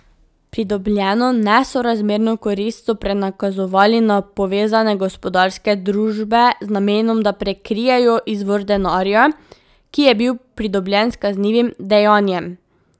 Pridobljeno nesorazmerno korist so prenakazovali na povezane gospodarske družbe z namenom, da prikrijejo izvor denarja, ki je bil pridobljen s kaznivim dejanjem.